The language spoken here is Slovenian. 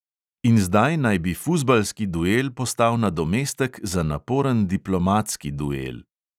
In zdaj naj bi fuzbalski duel postal nadomestek za naporen diplomatski duel.